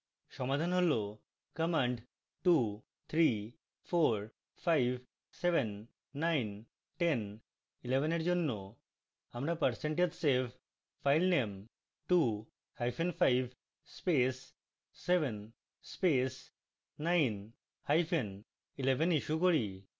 সমাধান হল